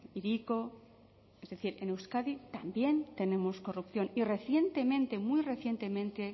hiriko es decir en euskadi también tenemos corrupción y recientemente muy recientemente